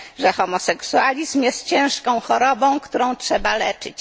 że homoseksualizm jest ciężką chorobą, którą trzeba leczyć.